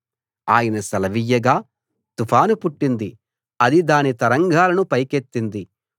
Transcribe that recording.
ఆయన సెలవియ్యగా తుఫాను పుట్టింది అది దాని తరంగాలను పైకెత్తింది